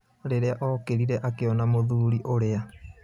Rĩrĩa okĩrire akĩona mũthuri ũrĩa.